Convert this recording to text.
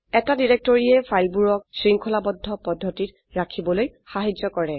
এটা ডিৰেক্টৰীয়ে ফাইলবোৰক শৃঙ্খলাবদ্ধ পদ্ধতিত ৰাখিবলৈ সাহায্য কৰে